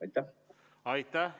Aitäh!